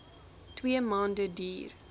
twee maande duur